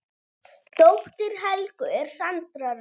Dóttir Helgu er Sandra Rós.